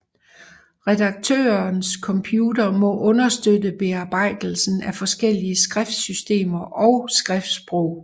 Redaktørens computer må understøtte bearbejdelsen af forskellige skriftsystemer og skriftssprog